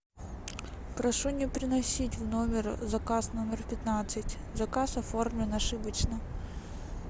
прошу не приносить в номер заказ номер пятнадцать заказ оформлен ошибочно